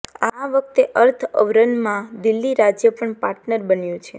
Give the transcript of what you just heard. આ વખતે અર્થ અવરમાં દિલ્હી રાજ્ય પણ પાર્ટનર બન્યું છે